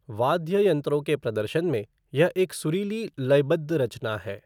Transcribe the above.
वाद्य यंत्रों के प्रदर्शन में, यह एक सुरीली लयबद्ध रचना है।